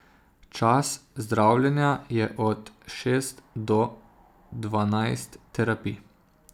Čas zdravljenja je od šest do dvanajst terapij.